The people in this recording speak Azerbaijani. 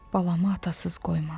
Balamı atasız qoyma.